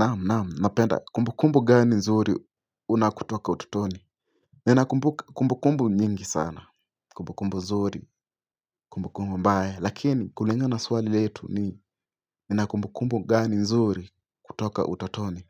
Naam naam napenda kumbukumbu gani nzuri una kutoka utotoni Ninakumbukumbu nyingi sana kumbukumbu nzuri kumbukumbu mbaya lakini kulinga na swali letu ni nina kumbukumbu gani nzuri kutoka utotoni